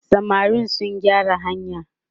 samarin su gyara hanyar!